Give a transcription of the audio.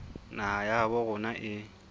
naha ya habo rona e